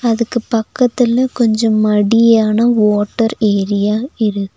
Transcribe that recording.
அதுக்கு பக்கத்துல கொஞ்சோ மடியான வோட்டர் ஏரியா இரு--